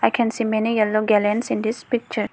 I can see many yellow gallons in this picture.